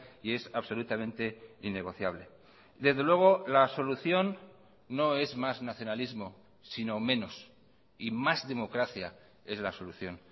y es absolutamente innegociable desde luego la solución no es más nacionalismo sino menos y más democracia es la solución